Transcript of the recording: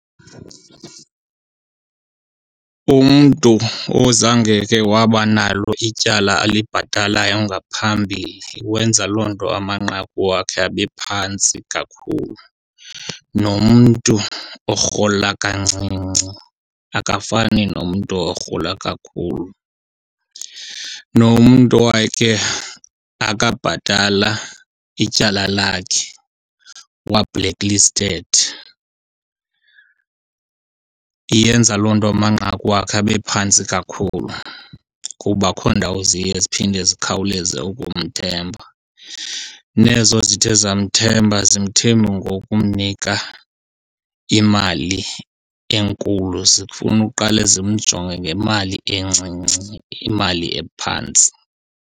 Umntu ozangeke waba nalo ityala alibhatalayo ngaphambili wenza loo nto amanqaku wakhe abe phantsi kakhulu. Nomntu orhola kancinci akafani nomntu orhola kakhulu. Nomntu owakhe akabhatala ityala lakhe wa-black listed iyenza loo nto amanqaku wakhe abephantsi kakhulu kuba akho ndawo ziye ziphinde zikhawuleze ukumthemba. Nezo zithe zamthemba azimthembi ngokumnika imali enkulu, zifuna uqale zimjonge ngemali encinci imali ephantsi.